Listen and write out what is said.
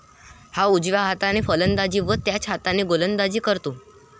हा उजव्या हाताने फलंदाजी व त्याच हाताने गोलंदाजी करतो.